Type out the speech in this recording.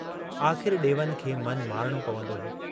आख़िर डेवन खे मनु मारिणो पवंदो हो।